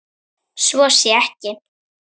Svo sé ekki.